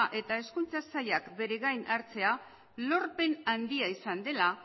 eta hezkuntza sailak bere gain hartzea lorpen handia izan dela